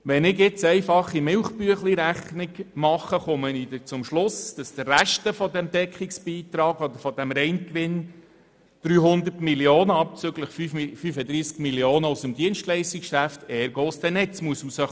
Wenn ich eine einfache «Milchbüechli-Rechnung» mache, komme ich zum Schluss, dass der Rest des Deckungsbeitrags oder dieses Reingewinns abzüglich 35 Mio. Franken aus dem Dienstleistungsgeschäft ergo aus dem Netz kommen muss.